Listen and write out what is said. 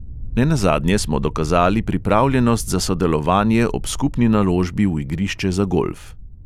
Nenazadnje smo dokazali pripravljenost za sodelovanje ob skupni naložbi v igrišče za golf.